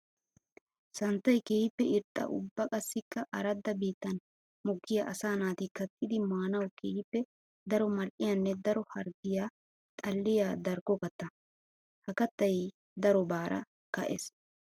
Santtay keehippe irxxa ubba qassikka aradda biittan mokkiya asaa naati kattiddi maanawu keehippe daro mali'iyanne daro harggiya xalliya darkko katta. Ha kattay darobara ka'ees.